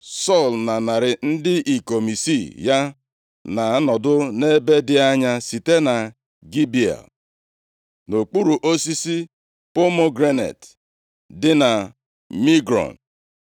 Sọl na narị ndị ikom isii ya na-anọdụ nʼebe dị anya site na Gibea, nʼokpuru osisi pomegranet dị na Migrọn.